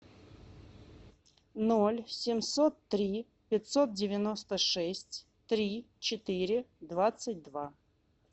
ноль семьсот три пятьсот девяносто шесть три четыре двадцать два